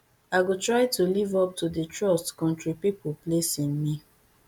i go try to live up to di trust kontri pipo place in me